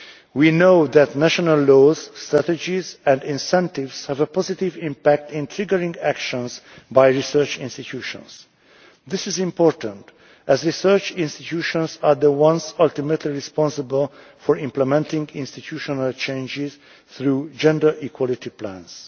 We know that national laws, strategies and incentives have a positive impact in triggering actions by research institutions. This is important, as research institutions are the ones ultimately responsible for implementing institutional changes through gender equality